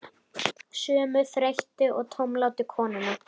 Sömu þreyttu og tómlátu konuna?